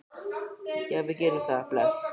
Já, við gerum það. Bless.